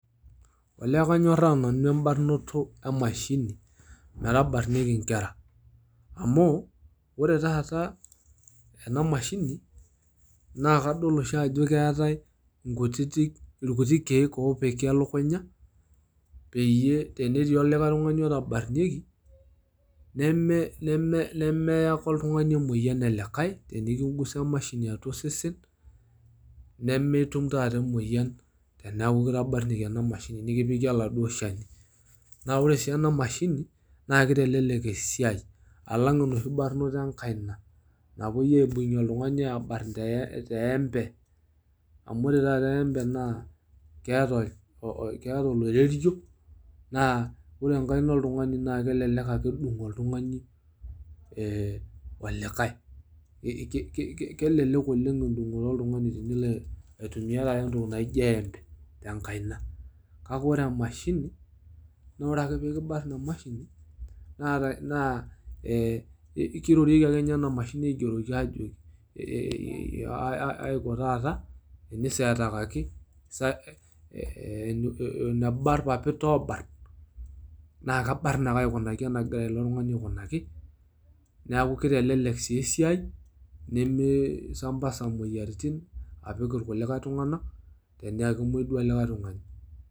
olee kanyoraa nanu ebarnoto emashini metabarnieki inkera amu ore taata ena mashini naa kadol oshi ajo keetae nkutitk irkuti kiek opiki elukunya peyie tenetii olikae tungani otabarnieki neme neme nemeya ake oltungani emoyian enelikae tenikigusa emashini atua osesen nemitum taata emoyian teneaku kitabarnieki ena mashini tinikipiki oladuoo shani. naa ore si ena mashini naa kitelelek esiai alang enoshi barnoto enkaina napuoi aibung oltungani abarn te eembe . amu ore taata eembe naa keeta oloirerio naa ore enkaina oltungani naa kelelek ake edung oltungani ee olikae. ki ki ki kelelek oleng edungoto oltungani tenilo aitumia taata entoki naijo eembe tenkaina. kake ore emashini naa ore ake pekibarn emashini naa ee kirorieki ake ena mashini ajoki ee e aiko taata miseetakaki eneba irpapit oobarn naa kabarn ake enegira ilo tungani aikunaki niaku kitelelek sii esiai nimi sambasa imoyiaritin apik irkulikae tunganak tenaa kemwoi duo likae tungani.